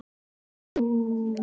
Eins og nú.